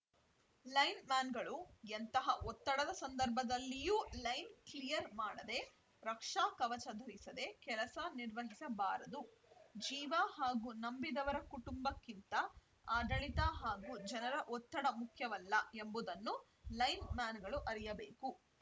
line ಮ್ಯಾನ್‌ಗಳು ಎಂತಹ ಒತ್ತಡದ ಸಂದರ್ಭದಲ್ಲಿಯೂ ಲೈನ್‌ ಕ್ಲಿಯರ್‌ ಮಾಡದೇ ರಕ್ಷಾ ಕವಚ ಧರಿಸದೆ ಕೆಲಸ ನಿರ್ವಹಿಸಬಾರದು ಜೀವ ಹಾಗೂ ನಂಬಿದವರ ಕುಟುಂಬಕ್ಕಿಂತ ಆಡಳಿತ ಹಾಗೂ ಜನರ ಒತ್ತಡ ಮುಖ್ಯವಲ್ಲ ಎಂಬುದನ್ನು ಲೈನ್‌ ಮ್ಯಾನ್‌ಗಳು ಅರಿಯಬೇಕು